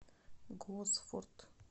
госфорд